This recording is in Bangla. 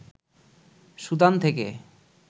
সুদান থেকে